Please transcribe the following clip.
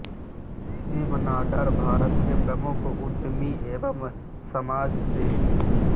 शिव नाडार भारत के प्रमुख उद्यमी एवं समाजसेवी हैं